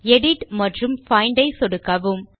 edit மற்றும் find ஐ சொடுக்கவும்